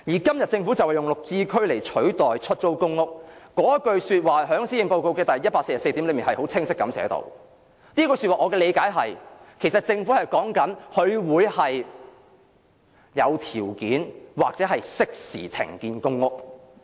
今日政府利用"綠置居"來取代出租公屋，政府在施政報告第144段已清晰寫明這句說話，我的理解是，政府是指會有條件或適時停建公屋。